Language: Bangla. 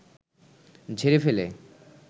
ঝেড়ে ফেলে